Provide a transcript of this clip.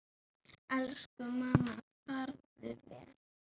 Elsku mamma, farðu vel.